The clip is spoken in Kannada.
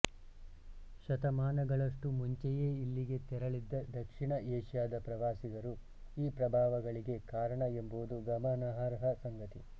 ಶತಮಾನಗಳಷ್ಟು ಮುಂಚೆಯೇ ಇಲ್ಲಿಗೆ ತೆರಳಿದ್ದ ದಕ್ಷಿಣ ಏಷ್ಯಾದ ಪ್ರವಾಸಿಗರು ಈ ಪ್ರಭಾವಗಳಿಗೆ ಕಾರಣ ಎಂಬುದು ಗಮನಾರ್ಹ ಸಂಗತಿ